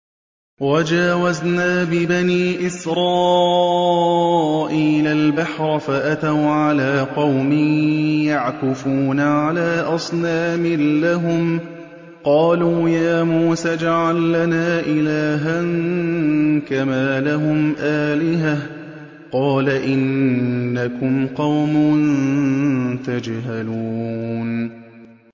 وَجَاوَزْنَا بِبَنِي إِسْرَائِيلَ الْبَحْرَ فَأَتَوْا عَلَىٰ قَوْمٍ يَعْكُفُونَ عَلَىٰ أَصْنَامٍ لَّهُمْ ۚ قَالُوا يَا مُوسَى اجْعَل لَّنَا إِلَٰهًا كَمَا لَهُمْ آلِهَةٌ ۚ قَالَ إِنَّكُمْ قَوْمٌ تَجْهَلُونَ